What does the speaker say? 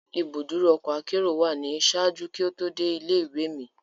Ibuduro ọkọ akero wa ni ṣaaju ki o to de ile-iwe mi